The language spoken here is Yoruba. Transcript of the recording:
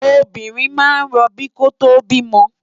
Óbirin má n ròbí kótó bimò